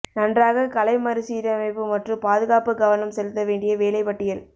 நன்றாக கலை மறுசீரமைப்பு மற்றும் பாதுகாப்பு கவனம் செலுத்த வேண்டிய வேலை பட்டியல்